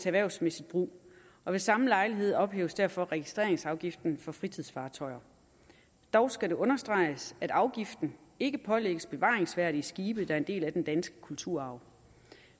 erhvervsmæssig brug ved samme lejlighed ophæves derfor registreringsafgiften for fritidsfartøjer dog skal det understreges at afgiften ikke pålægges bevaringsværdige skibe der er en del af den danske kulturarv